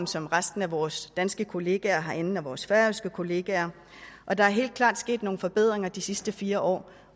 som resten af vores danske kollegaer herinde og som vores færøske kollegaer og der er helt klart sket nogle forbedringer de sidste fire år